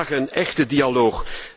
Ze vragen om een echte dialoog.